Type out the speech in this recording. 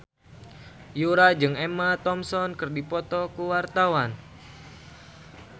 Yura jeung Emma Thompson keur dipoto ku wartawan